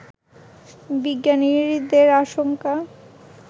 বিজ্ঞানীদের আশঙ্কা